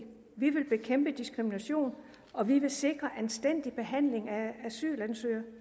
vi vil bekæmpe diskrimination og vi vil sikre anstændig behandling af asylansøgere